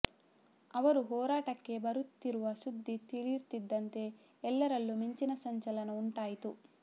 ಅವರು ಹೋರಾಟಕ್ಕೆ ಬರುತ್ತಿರುವ ಸುದ್ದಿ ತಿಳಿಯುತ್ತಿದ್ದಂತೆ ಎಲ್ಲರಲ್ಲೂ ಮಿಂಚಿನ ಸಂಚಲನ ಉಂಟಾಯಿತು